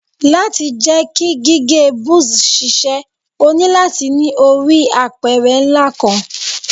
Lati jẹ ki gige buzz ṣiṣẹ, o nilo lati ni ori apẹrẹ nla kanq